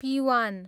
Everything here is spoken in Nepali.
पिवान